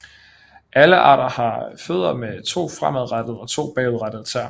Alle arter har fødder med to fremadrettede og to bagudrettede tæer